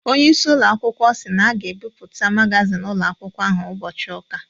Ọnyeisi ụloakwukwọ si na a ga-ebuputa magazin ụloakwkwo ahụ ubochi ụka